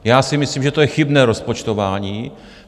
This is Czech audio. Já si myslím, že to je chybné rozpočtování.